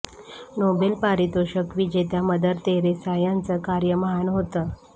Nobel पारितोषिक विजेत्या Mother Teresa यांचं कार्य महान होतं